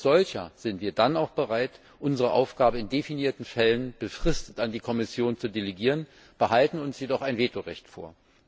Als solcher sind wir dann auch bereit, unsere Aufgabe in definierten Fällen befristet an die Kommission zu delegieren, wir behalten uns jedoch ein Vetorecht vor.